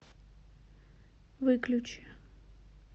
выключи